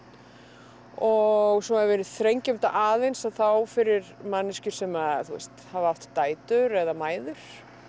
og svo ef við þrengjum þetta aðeins þá fyrir manneskjur sem hafa átt dætur eða mæður